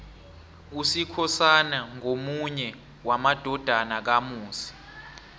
usikhosana ngomunye wamadodana kamusi